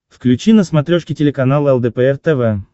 включи на смотрешке телеканал лдпр тв